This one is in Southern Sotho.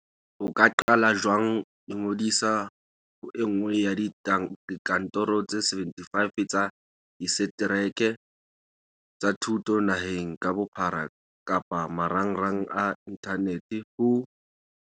O ka qala jwang Ingodisa ho e nngwe ya dikantoro tse 75 tsa disetereke tsa thuto naheng ka bophara kapa marangrang a inthanete ho